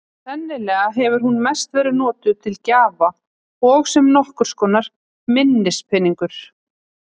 Sennilega hefur hún mest verið notuð til gjafa og sem nokkurs konar minnispeningur.